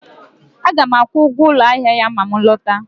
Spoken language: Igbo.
Aga m akwụ ụgwọ ụlọ ahịa ya ma m lọta